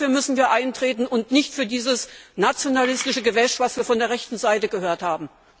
Dafür müssen wir eintreten und nicht für dieses nationalistische Gewäsch, das wir von der rechten Seite gehört haben.